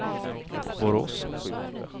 Borås